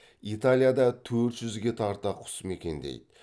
италияда төрт жүзге тарта құс мекендейді